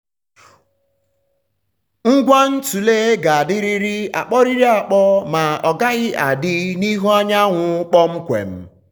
ngwa ntule ga-adịrịrị akpọrịrị akpọ ma ọgaghị adị n’ihu anyanwụ kpọmkwem.